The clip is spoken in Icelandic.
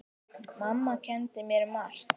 Mamma kenndi mér margt.